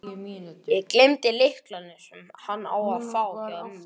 Ég gleymdi lyklunum, sem hann á að fá, hjá ömmu.